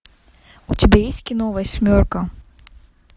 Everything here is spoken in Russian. у тебя есть кино восьмерка